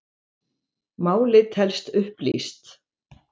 Málið telst upplýst